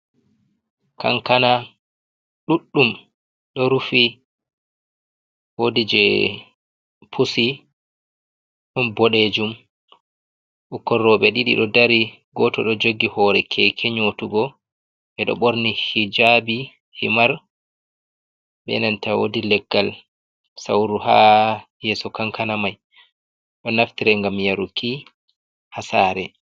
Kankana ɗuɗɗum ɗo rufi. Woɗi jee pusi ɗon boɗejum bikkon robe ɗiɗi ɗo ɗari. goto ɗo jogi hore keke nyotugo beɗo borni hijabi himar, be nanta woɗi leggal sauru ha yeso kankana mai ɗo naftira ngam yaruki ha sare.